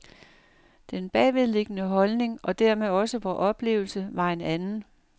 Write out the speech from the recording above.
Den bagvedliggende holdning, og dermed også vor oplevelse, var en anden.